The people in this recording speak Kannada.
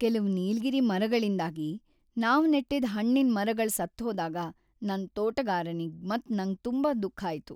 ಕೆಲವ್ ನೀಲಗಿರಿ ಮರಗಳಿಂದಾಗಿ ನಾವ್ ನೆಟ್ಟಿದ್ ಹಣ್ಣಿನ್ ಮರಗಳ್ ಸತ್ತುಹೋದಾಗ ನನ್ ತೋಟಗಾರನಿಗ್ ಮತ್ ನಂಗ್ ತುಂಬಾ ದುಃಖ ಆಯ್ತು.